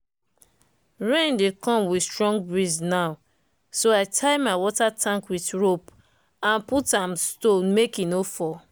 rain dey come with strong breeze now so i tie my water tank with rope and put am stone make e no fall.